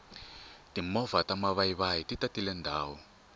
timovha ta mavayivayi ti tatile ndhawu